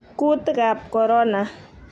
kuutikab korona